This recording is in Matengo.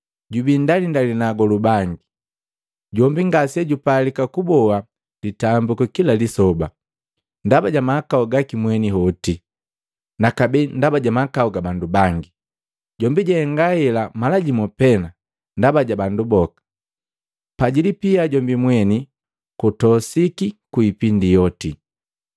Jubii ndalindali na agolu bangi, jombi ngasejupalika kuboa litambiku kila lisoba, ndaba ja mahakau gaki mweni hoti, nakabee ndaba ja mahakau ga bandu bangi. Jombi jahenga hela mala jimu pee ndaba ja bandu boka, pa jilipia jombi mweni, kutosiki ku ipindi yoti.